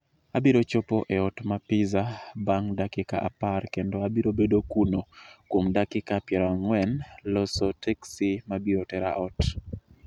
Abiro chopo e ot ma pizza bang' dakika apar kendo abiro bedo kuno kuom dakika piero ang'wen loso teksi ma biro tera ot